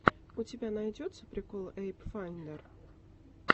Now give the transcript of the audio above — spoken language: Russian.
у тебя найдется прикол эпл файндер